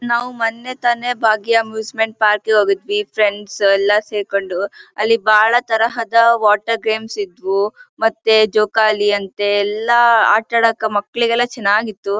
ನಾವು ಮೊನ್ನೆ ತಾನೇ ಭಾಗ್ಯ ಅಮ್ಯೂಸ್ಸ್ಮೆಂಟ್ ಪಾರ್ಕ್ ಗೆ ಹೋಗಿದ್ವಿ ಫ್ರೆಂಡ್ಸ್ ಎಲ್ಲ ಸೇರ್ಕೊಂಡು ಅಲ್ಲಿ ಬಾಳ ತರಹದ ವಾಟರ್ ಗೇಮ್ಸ್ ಇದ್ವು ಮತ್ತೆ ಜೋಕಾಲಿಯಂತೆ ಎಲ್ಲ ಆಟ ಆಡದಕ್ಕೆ ಮಕ್ಕಳಿಗೆಲ್ಲ ಚೆನ್ನಾಗಿತ್ತು.